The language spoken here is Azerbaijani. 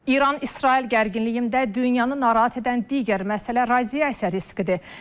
İran-İsrail gərginliyində dünyanın narahat edən digər məsələ radiasiya riskidir.